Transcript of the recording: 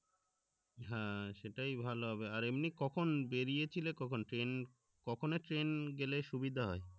হ্যাঁ সেটাই ভালো হবে আর এমনি কখন বেরিয়েছিল কখন train কখন এর train এ গেলে সুবিধা হয়